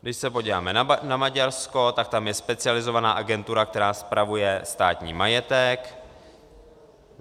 Když se podíváme na Maďarsko, tak tam je specializovaná agentura, která spravuje státní majetek.